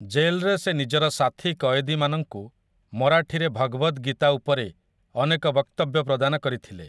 ଜେଲ୍‌ରେ ସେ ନିଜର ସାଥୀ କଏଦୀମାନଙ୍କୁ ମରାଠୀରେ ଭଗବଦ୍ ଗୀତା ଉପରେ ଅନେକ ବକ୍ତବ୍ୟ ପ୍ରଦାନ କରିଥିଲେ ।